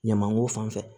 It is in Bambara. Ɲamanko fan fɛ